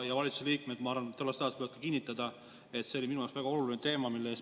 Valitsuse liikmed sellest ajast võivad, ma arvan, kinnitada, et see oli minu jaoks väga oluline teema.